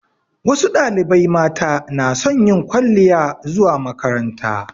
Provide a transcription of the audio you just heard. Wasu ɗalibai mata na son yin kwaliya zuwa makaranta